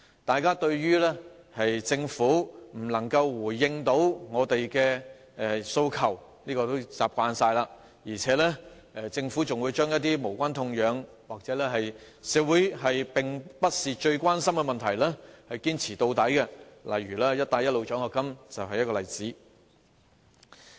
大家已習慣政府不能回應我們的訴求，而且還會將一些無關痛癢或並非社會最關心的問題堅持到底，"一帶一路"獎學金就是一例。